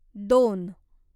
दोन